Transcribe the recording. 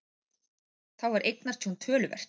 Þá var eignatjón töluvert